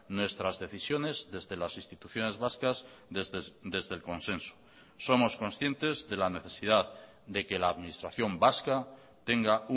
nuestras decisiones desde las instituciones vascas desde el consenso somos conscientes de la necesidad de que la administración vasca tenga